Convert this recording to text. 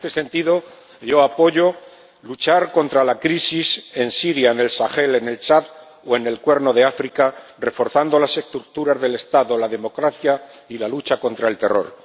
En este sentido, yo apoyo luchar contra la crisis en Siria, en el Sahel, en Chad o en el Cuerno de África, reforzando las estructuras del Estado, la democracia y la lucha contra el terror.